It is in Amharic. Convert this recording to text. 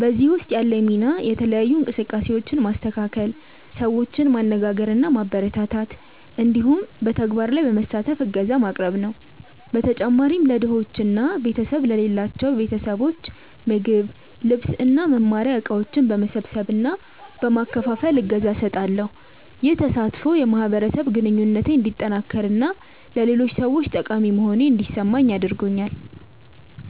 በዚህ ውስጥ ያለኝ ሚና የተለያዩ እንቅስቃሴዎችን ማስተካከል፣ ሰዎችን ማነጋገር እና ማበረታታት እንዲሁም በተግባር ላይ በመሳተፍ እገዛ ማቅረብ ነው። በተጨማሪም ለድሆች እና ቤተሰብ ለሌላቸው ያሉ ቤተሰቦች ምግብ፣ ልብስ እና መማሪያ እቃዎች በመሰብሰብ እና በመከፋፈል እገዛ እሰጣለሁ። ይህ ተሳትፎ የማህበረሰብ ግንኙነቴን እንዲጠነክር እና ለሌሎች ሰዎች ጠቃሚ መሆኔን እንዲሰማኝ አድርጎኛል።